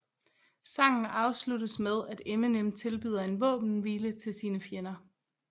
Sangen afsluttes med at Eminem tilbyder en våbenhvile til sine fjender